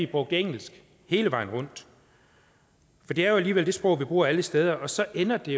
bruge engelsk hele vejen rundt for det er jo alligevel det sprog vi bruger alle steder og så ender det